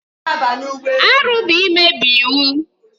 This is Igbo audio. Arụ bụ imebi iwu.